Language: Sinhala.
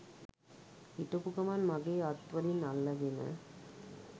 හිටපු ගමන් මගෙ අත් වලින් අල්ලගෙන